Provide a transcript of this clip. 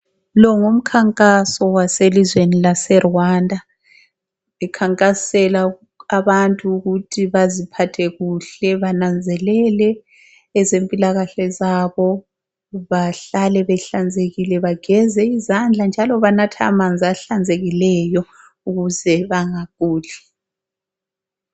Lo ngumkhankaso waselizweni laseRwanda bekhankasela ukuthi abantu baziphathe kuhle bananzelele ezempilakahle zabo bahlale behlanzekile ,bageze izandla njalo banathe amanzi ahlanzekileyo ukuze bangaguli.